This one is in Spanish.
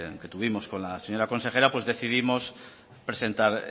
que tuvimos con la señora consejera decidimos presentar